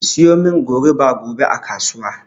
Ki siyomin goruba gobe a kasuwa